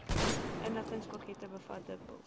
inligtingspakkette bevat dikwels